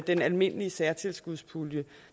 den almindelige særtilskudspulje